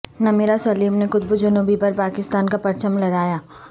نمیرہ سلیم نے قطب جنوبی پر پاکستان کا پرچم لہرایا